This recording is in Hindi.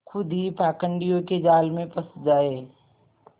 खुद ही पाखंडियों के जाल में फँस जाए